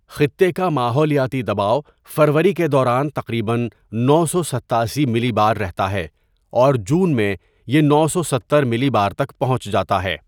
خطے کا ماحولیاتی دباؤ فروری کے دوران تقریباً نو سو ستاسی ملی بار رہتا ہے اور جون میں یہ نو سو ستر ملی بار تک پہنچ جاتا ہے.